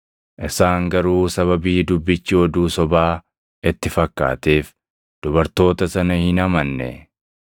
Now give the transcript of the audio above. Isaan garuu sababii dubbichi oduu sobaa itti fakkaateef dubartoota sana hin amanne.